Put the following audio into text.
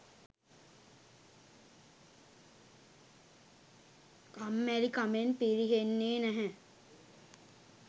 කම්මැලි කමෙන් පිරිහෙන්නේ නැහැ